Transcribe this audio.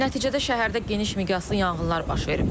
Nəticədə şəhərdə geniş miqyaslı yanğınlar baş verib.